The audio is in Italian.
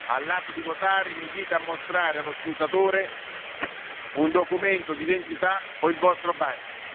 vostro cognome. All'atto di votare, vi invito a mostrare allo scrutatore un documento d'identità o il